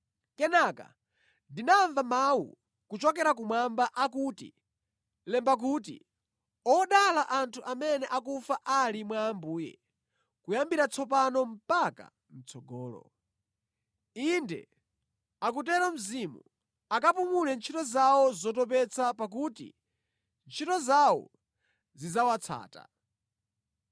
Kenaka ndinamva mawu kuchokera kumwamba akuti, “Lemba kuti, Odala anthu amene akufa ali mwa Ambuye kuyambira tsopano mpaka mʼtsogolo.” “Inde,” akutero Mzimu, “akapumule ntchito zawo zotopetsa pakuti ntchito zawo zidzawatsata.”